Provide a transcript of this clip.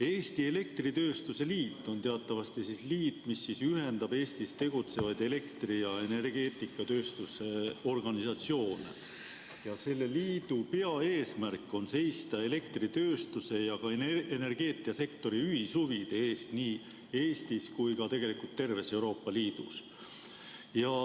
Eesti Elektritööstuse Liit on teatavasti liit, mis ühendab Eestis tegutsevaid elektri- ja energeetikatööstuse organisatsioone, ja selle liidu peaeesmärk on seista elektritööstuse ja energeetikasektori ühishuvide eest nii Eestis kui ka terves Euroopa Liidus.